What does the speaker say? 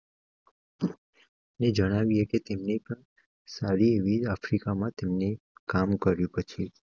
જણાવીએ કે તેની પર સારી એવી આફ્રિકા માં તેમને કામ કર્યું. પછી.